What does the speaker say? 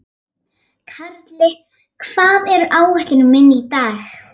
Karli, hvað er á áætluninni minni í dag?